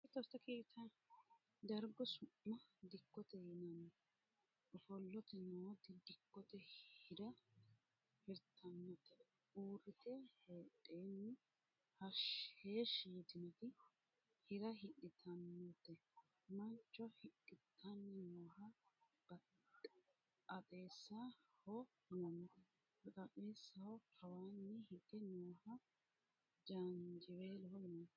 Dargu su'ma dikkote yinanni. ofolte nooti dikkote hi'ra hirtannote. uurrite heedhenni heeshshi yitinoti hi'ra hidhitannote. mancho hidhitanni nooha baxaaxeessaho yinanni. baxaaxeessaho kawaanni hige nooha jaanjiweeloho yinanni.